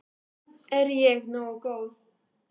Er ég nógu góð?